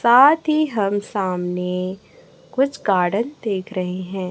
साथी हम सामने कुछ गार्डन देख रहे हैं।